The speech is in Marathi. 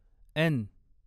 एन